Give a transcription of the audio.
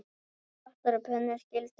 Pottar og pönnur skyldu sótt.